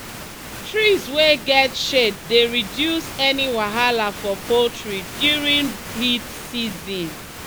trees wey get shade dey reduce any wahala for poultry during heat season